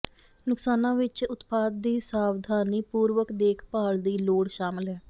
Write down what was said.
ਨੁਕਸਾਨਾਂ ਵਿਚ ਉਤਪਾਦ ਦੀ ਸਾਵਧਾਨੀਪੂਰਵਕ ਦੇਖਭਾਲ ਦੀ ਲੋੜ ਸ਼ਾਮਲ ਹੈ